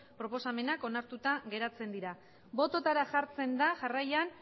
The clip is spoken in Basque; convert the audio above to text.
proposamenak onartuta geratzen dira bototara jartzen da jarraian